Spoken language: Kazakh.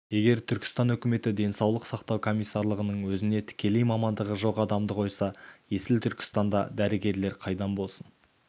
егер түркістан өкіметі денсаулық сақтау комиссарлығының өзіне тікелей мамандығы жоқ адамды қойса есіл түркістанда дәрігерлер қайдан болсын